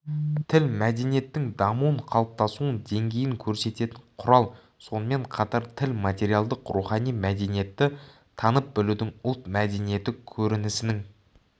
тіл мәдениеттің дамуын қалыптасуын деңгейін көрсететін құрал сонымен қатар тіл материалдық-рухани мәдениетті танып-білудің ұлт мәдениеті көрінісінің